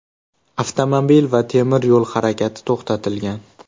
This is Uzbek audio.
Avtomobil va temir yo‘l harakati to‘xtatilgan.